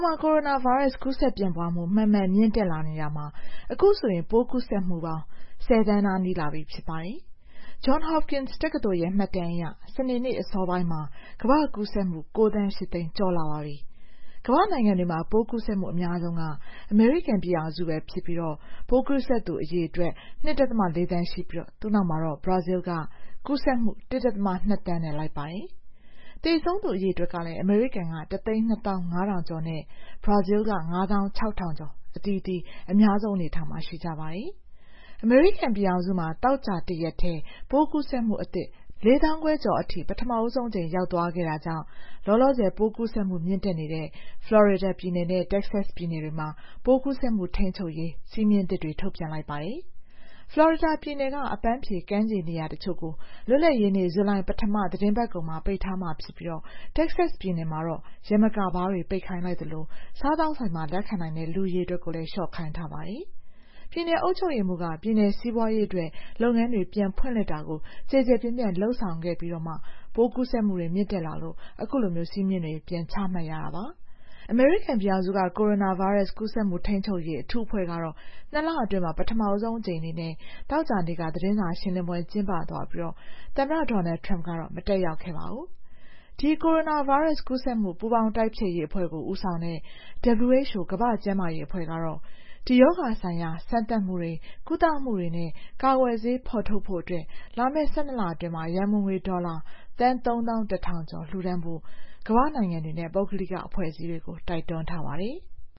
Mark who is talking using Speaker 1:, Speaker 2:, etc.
Speaker 1: မှာ ကိုရိုနာဗိုင်းရပ်စ် ကူးစက်ပြန့်ပွားမှု မှန်မှန်မြင့်တက်လာနေတာမှာ အခုဆို ပိုးကူးစက်မှုပေါင်း ၁၀ သန်းနား နီးလာပြီ ဖြစ်ပါတယ်။ Johns Hopkins တက္ကသိုလ်ရဲ့ မှတ်တမ်းအရ စနေအစောပိုင်းမှာ ကမ္ဘာတဝန်း ကူးစက်မှု ၉ သန်း ၈ သိန်း ကျော်လာပါပြီ။ ကမ္ဘာ့နိုင်ငံတွေမှာ ပိုးကူးစက်မှု အများဆုံးက အမေရိကန်ပြည်ထောင်စုဖြစ်ပြီး ပိုးကူးစက်သူ အရေအတွက် ၂.၄ သန်းရှိပြီး သူ့နောက်မှာ ဘရာဇီးက ကူးစက်မှု ၁.၂ သန်းနဲ့ လိုက်ပါတယ်။ သေဆုံးသူ အရေအတွက်ကလည်း အမေရိကန်မှာ ၁၂၅,၀၀၀ ကျော်၊ ဘရာဇီးမှာ ၅၆,၀၀၀ ကျော် အသီးသီးနဲ့ အများဆုံးအနေအထားမှာ ရှိကြပါတယ်။ အမေရိကန်ပြည်ထောင်စုမှာ သောကြာတရက်တည်းနဲ့ ပိုးကူးစက်သူအသစ် ၄၅,၀၀၀ ကျော်အထိ ပထမဆုံးအကြိမ် ရောက်သွားခဲ့တာကြောင့် လောလောဆယ် ပိုးကူးစက်မှု မြင့်တက်နေတဲ့ ဖလော်ရီဒါပြည်နယ်နဲ့ တက္ကဆက်စ်ပြည်နယ်တွေမှာ ပိုးကူးစက်မှု ထိန်းချုပ်ရေး စည်းမျဉ်းအသစ်တွေ ထုတ်ပြန်လိုက်ပါတယ်။ ဖလော်ရီဒါပြည်နယ်က အပန်းဖြေကမ်းခြေ နေရာတချို့ကို လွတ်လပ်ရေးနေ့ ဇူလိုင်ပထမသီတင်းပတ်ကုန်မှာ ပိတ်ထားမှာဖြစ်ပြီး တက္ကဆက်စ်ပြည်နယ်မှာတော့ ယမကာဘားတွေ ပိတ်ခိုင်းလိုက်သလို စားသောက်ဆိုင်မှာ လက်ခံနိုင်တဲ့ လူအရေအတွက်ကိုလည်း လျှော့ခိုင်းထားပါတယ်။ ပြည်နယ်အုပ်ချုပ်ရေးမှူးက ပြည်နယ်စီးပွားရေးအတွက် လုပ်ငန်းတွေ ပြန်ဖွင့်လှစ်တာကို ကျယ်ကျယ်ပြန့်ပြန့် လုပ်ဆောင်ခဲ့ပြီးမှ ပိုးကူးစက်မှုတွေ မြင့်တက်လာလို့ အခုလို စည်းမျဉ်းတွေ ပြန်ချမှတ်ရတာ ဖြစ်ပါတယ်။ အမေရိကန်ပြည်ထောင်စုက ကိုရိုနာဗိုင်းရပ်စ် ကူးစက်မှု ထိန်းချုပ်ရေး အထူးအဖွဲ့ကတော့ ၂ လအတွင်း ပထမဆုံးအကြိမ် အနေနဲ့ သောကြာနေ့က သတင်းစာရှင်းလင်းပွဲ ကျင်းပသွားပြီး သမ္မတ Donald Trump ကတော့ မတက်ရောက်ခဲ့ပါဘူး။ ဒီ ကိုရိုနာဗိုင်းရပ်စ်ကူးစက်မှု ပူးပေါင်းတိုက်ဖျက်ရေးအဖွဲ့ကို ဦးဆောင်တဲ့ WHO ကမ္ဘာ့ကျန်းမာရေးအဖွဲ့ကတော့ ရောဂါဆိုင်ရာ စမ်းသပ်မှုတွေ၊ ကုသမှုတွေနဲ့ ကာကွယ်ဆေး ဖော်ထုတ်ဖို့အတွက် လာမယ့် ၁၂ လအတွင်း ရန်ပုံငွေ ဒေါ်လာ သန်း ၃၁,၀၀၀ ကျော်လှူဒါန်းဖို့ ကမ္ဘာ့နိုင်ငံတွေနဲ့ ပုဂ္ဂလိက အဖွဲ့အစည်းတွေကို တိုက်တွန်းသွားပါတယ်။